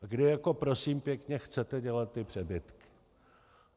A kdy jako, prosím pěkně, chcete dělat ty přebytky?